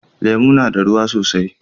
Lemu na da ruwa sosai.